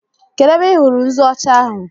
Kedụ ebe ị hụrụ nzu ọcha ahụ?